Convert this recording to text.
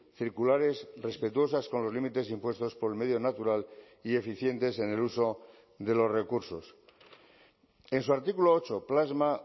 circulares respetuosas con los límites impuestos por el medio natural y eficientes en el uso de los recursos en su artículo ocho plasma